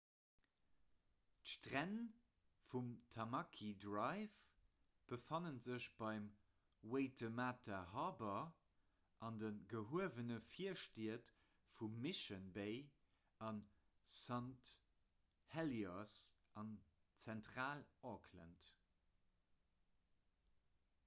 d'stränn vum tamaki drive befanne sech beim waitemata harbour an de gehuewene virstied vu mission bay a st heliers an zentral-auckland